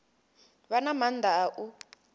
vha na maanḓa a u